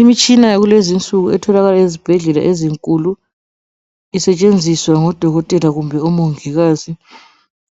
Umtshina yakulezi insuku etholakala ezibhedlela ezinkulu. Isetshenziswe ngodokotela kumbe omungikazi